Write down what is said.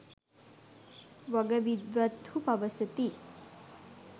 වග විද්වත්හු පවසති.